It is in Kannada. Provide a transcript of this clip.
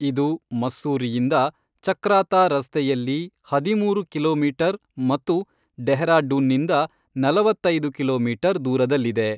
ಇದು ಮಸ್ಸೂರಿಯಿಂದ ಚಕ್ರಾತಾ ರಸ್ತೆಯಲ್ಲಿ ಹದಿಮೂರು ಕಿಲೋಮೀಟರ್ ಮತ್ತು ಡೆಹ್ರಾಡೂನ್ನಿಂದ ನಲವತ್ತೈದು ಕಿಲೋಮೀಟರ್ ದೂರದಲ್ಲಿದೆ.